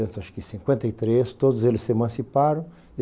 acho que cinquenta e três, todos eles se emanciparam.